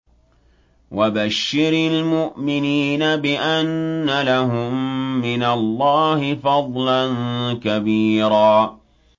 وَبَشِّرِ الْمُؤْمِنِينَ بِأَنَّ لَهُم مِّنَ اللَّهِ فَضْلًا كَبِيرًا